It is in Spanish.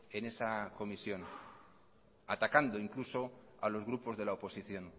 en esa comisión atacando incluso a los grupos de la o posición